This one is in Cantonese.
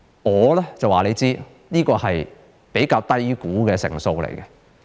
我可以告訴你，這是比較低估的數字。